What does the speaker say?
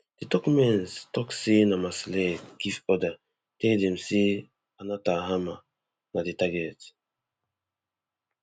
di documents tok say na marsalek give order tell dem say anna thalhammer na di target